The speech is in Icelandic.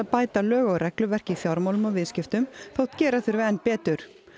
bæta lög og regluverk í fjármálum og viðskiptum þótt gera þurfi enn betur